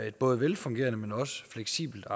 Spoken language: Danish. et både velfungerende men også fleksibelt